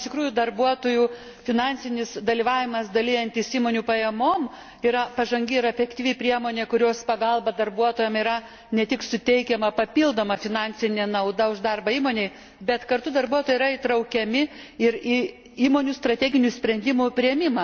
Iš tikrųjų, darbuotojų finansinis dalyvavimas dalijantis įmonių pajamomis yra pažangi ir efektyvi priemonė, kurios pagalba darbuotojams yra ne tik suteikiama papildoma finansinė nauda už darbą įmonėje, bet kartu darbuotojai yra įtraukiami ir į įmonių strateginių sprendimų priėmimą.